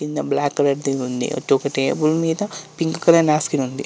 కింద black colour ది ఉంది. టేబుల్ మీద పింక్ కలర్ నాఫ్కిన్ ఉంది.